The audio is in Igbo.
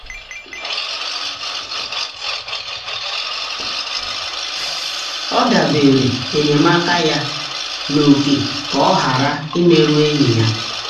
o debere um enyemaka um ya n’ókè ka ọ ghara um imerụ enyi ha.